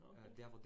Nåh okay